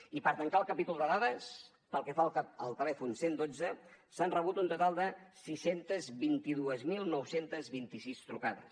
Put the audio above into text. i per tancar el capítol de dades pel que fa al telèfon cent i dotze s’han rebut un total de sis cents i vint dos mil nou cents i vint sis trucades